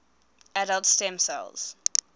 adult stem cells